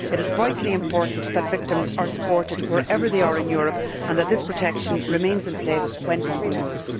It is vitally important that victims are supported wherever they are in Europe and that this protection remains in place when people move.